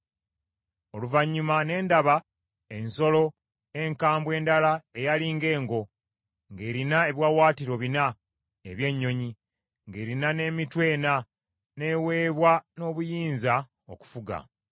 “Oluvannyuma ne ndaba ensolo enkambwe endala eyali ng’engo, ng’erina ebiwaawaatiro bina eby’ennyonyi, ng’erina n’emitwe ena, n’eweebwa n’obuyinza okufuga.